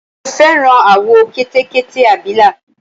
mo fẹ́ràn àwọ̀ Kẹtẹkẹtẹ abìlà